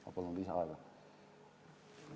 Ma palun lisaaega!